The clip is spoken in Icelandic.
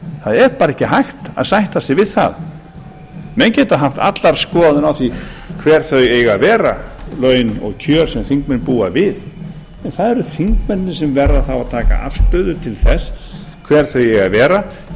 það er bara ekki hægt að sætta sig við það menn geta haft alla skoðun á því hver þau eiga að vera laun og kjör sem þingmenn búa við en það eru þingmennirnir sem verða að taka afstöðu til þess hver þau eigi að vera